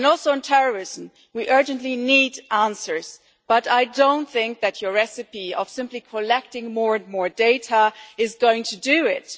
On terrorism we also urgently need answers, but I do not think that your recipe of simply collecting more and more data is going to do it.